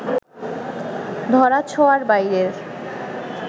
ধরাছোঁয়ার বাইরের